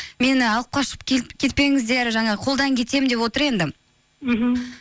мені алып қашып кетпеңіздер жаңағы қолдан кетемін деп отыр енді мхм